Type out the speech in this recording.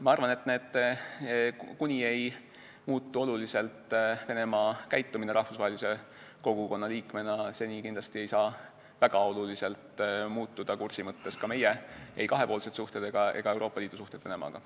Ma arvan, et kuni ei muutu oluliselt Venemaa käitumine rahvusvahelise kogukonna liikmena, seni ei saa väga oluliselt muutuda kursi mõttes ka ei meie kahepoolsed suhted ega Euroopa Liidu suhted Venemaaga.